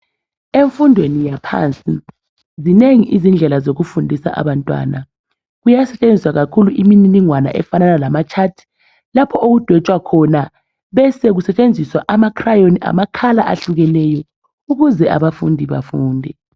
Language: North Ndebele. emfundweni yaphansi zinengi indlela zokufundisa abantwana kuyasetshenziswa kakhulu imininingwana efanana lama chart lapho okudwetshwa khona besekusetshenziswa ama cryon amakhala ahlukeneyo ukuze abafundi bafunde